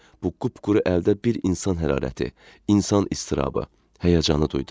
Bu qupquru əldə bir insan hərarəti, insan istirabı, həyəcanı duydum.